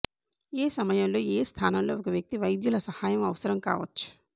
ఏ సమయంలో ఏ స్థానంలో ఒక వ్యక్తి వైద్యులు సహాయం అవసరం కావచ్చు